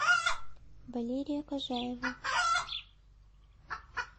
валерия кожаева